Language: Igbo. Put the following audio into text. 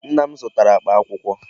Nna m zụtara akpa akwụkwọ.